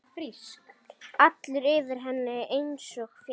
Allur yfir henni einsog fjall.